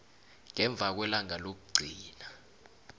ngemva kwelanga lokugcina